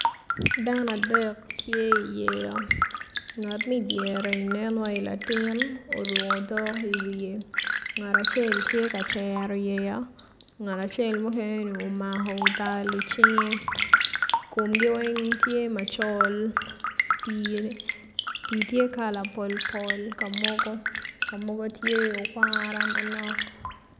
Dano adek tye i yeya ngat ma idyere nen wai latin oruko otok i wiye ngat acel tye ka cero yeya ngat acel mukene ni omako tal i cinge komgi weng tye macol pii tye kala pol pol ka mogo ma mogo tye okwara manok.